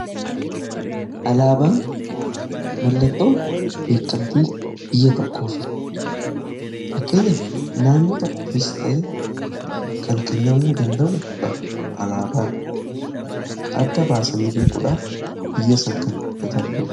alaabaan mallattoo beekamtii biyya tokkooti. fakkeenyaaf naannoo tokkoofis ta'ee kan kennamuu danda'u dha. Alaabaan adda baasanii beekuudhaaf biyya kan tajaajiludha.